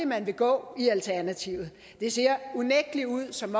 man vil gå i alternativet det ser unægtelig ud som